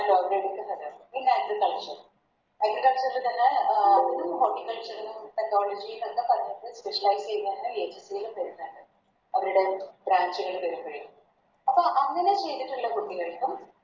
അവരെടുക്കുന്നത് പിന്നെ Agriculture agriculture ൽ തന്നെ അഹ് Technology വന്ന സമയത്ത് Specialize അപ്പം അങ്ങനെ ചെയ്‌തിട്ടുള്ള കുട്ടികൾക്കും